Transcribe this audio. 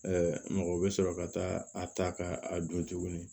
mɔgɔ bɛ sɔrɔ ka taa a ta ka a dun tuguni